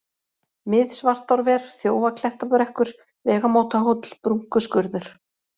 Mið-Svartárver, Þjófaklettabrekkur, Vegamótahóll, Brúnkuskurður